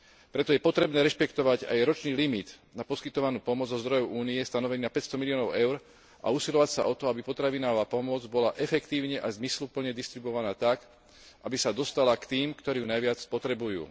Preto je potrebné rešpektovať aj ročný limit na poskytovanú pomoc zo zdrojov Únie stanovený na 500 miliónov EUR a usilovať sa o to, aby potravinová pomoc bola efektívne a zmysluplne distribuovaná tak, aby sa dostala k tým, ktorí ju najviac potrebujú.